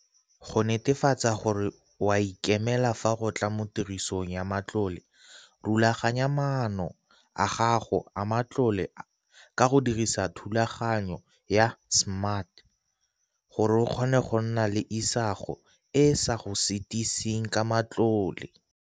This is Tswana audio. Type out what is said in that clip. Go netefatsa gore o a ikemela fa go tla mo tirisong ya matlole, rulaganya maano a gago a matlole ka go dirisa thulaganyo ya SMART gore o kgone go nna le isago e e sa go sitiseng ka matlole.